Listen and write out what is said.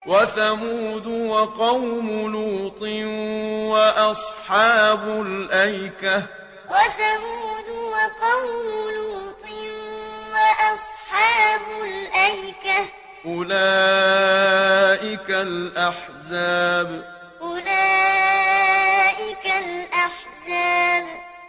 وَثَمُودُ وَقَوْمُ لُوطٍ وَأَصْحَابُ الْأَيْكَةِ ۚ أُولَٰئِكَ الْأَحْزَابُ وَثَمُودُ وَقَوْمُ لُوطٍ وَأَصْحَابُ الْأَيْكَةِ ۚ أُولَٰئِكَ الْأَحْزَابُ